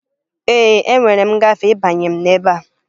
Ee, enwere m ngafe ịbanye m ebe a